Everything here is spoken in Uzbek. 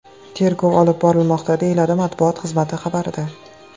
Tergov olib borilmoqda, deyiladi matbuot xizmati xabarida.